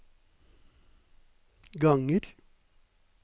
ganger